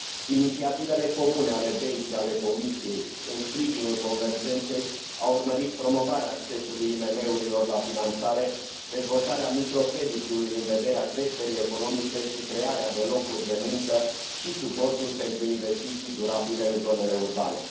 Inițiativele comune ale BEI și ale Comisiei în sprijinul convergenței au urmărit promovarea accesului IMM urilor la finanțare, dezvoltarea microcreditelor în vederea creșterii economice și crearea de locuri de muncă și suportul pentru investiții durabile în zonele urbane.